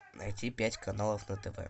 найти пять каналов на тв